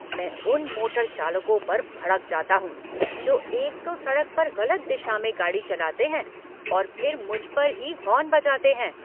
मैं उन मोटर चालकों पर भड़क जाता हूँ जो एक तो सड़क पर गलत दिशा में गाड़ी चलाते हैं और फिर मुझ पर ही हॉर्न बजाते हैं।